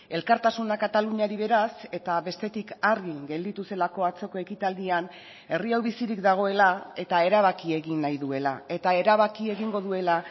elkartasuna kataluniari beraz eta bestetik argi gelditu zelako atzoko ekitaldian herri hau bizirik dagoela eta erabaki egin nahi duela eta erabaki egingo duela